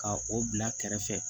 Ka o bila kɛrɛfɛ